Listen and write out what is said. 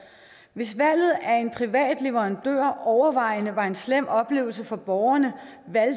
hvis valget af en privat leverandør overvejende var en slem oplevelse for borgerne